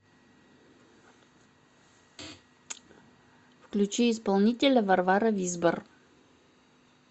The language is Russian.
включи исполнителя варвара визбор